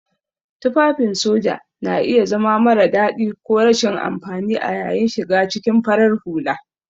Tufafin soja na iya zama mara dadi ko rashin amfani a yayin shiga cikin farar hula.